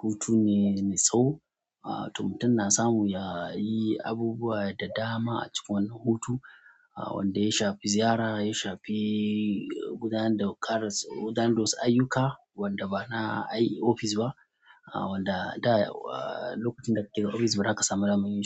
hutu ne, me tsaho. Ah to mutum na samu yayi abubuwa da dama a cikin wannan hutu wanda ya shafi ziyara ya shafi gudanar da gudanar da wasu ayyuka wanda bana ai ofis ba ah, wanda da lokacin da ka ke ofis bazaka samu damar yin shi.